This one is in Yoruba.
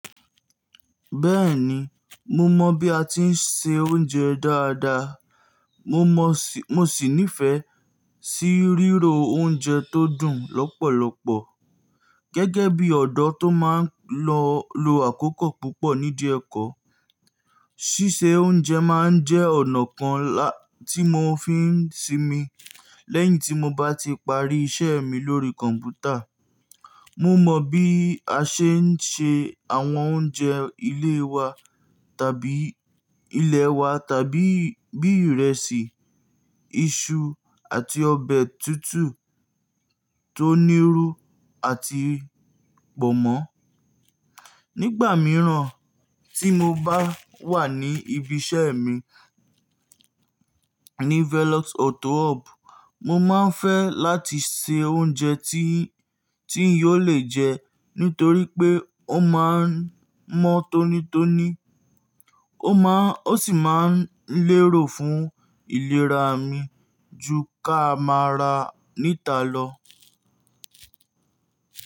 Bẹ́ẹ̀ni, mo mọ̀ bí a ti ń se oúnjẹ dáadáa. Mo sì nífẹ̀ẹ́ sí ríro oúnjẹ tó dùn lọ́pọ̀lọpọ̀. Gẹ́gẹ́ bí ọ̀dọ́ tó máa ń lọ lo àkókò púpọ̀ nídi ẹkọ, ṣíṣe oúnjẹ má ń jẹ́ ọ̀nà kan lá-- tí mo fi ń sinmi lẹ́yìn tí mo bá ti parí iṣẹ́ mi lórí kọ̀m̀pútà. Mo mọ̀ bí a ṣe ń se àwọn oúnjẹ ilé wa tàbí ilẹ̀ wa tàbí bí ìrẹsì, iṣu àti ọbẹ̀ tútù tó níru àti pọ̀nmọ́. Nígbà mìíràn tí mo bá wà ní ibi iṣẹ́ mi ní Velox Auto Hub, mo má ń fẹ́ láti se oúnjẹ tí, tí ń yóò le jẹ́ nítorí pé ó má ń mọ́ tónítóní, ó má ń, ó sì má ń lérò fún ìlera mi ju ki a máa ra níta lọ.